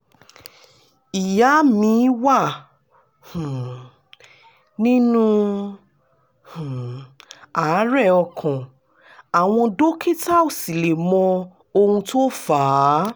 ìyá mi wà um nínú um àárẹ̀ ọkàn àwọn dókítà ò sì lè mọ ohun tó fà á